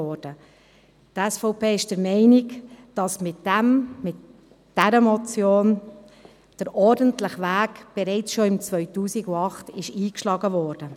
Die SVP ist der Meinung, dass der ordentliche Weg mit dieser Motion schon im Jahr 2008 eingeschlagen wurde.